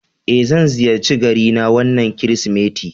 Eh, zan ziyarci garina wannan Kirsimeti